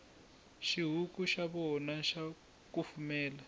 xihuku xa voya xa kufumela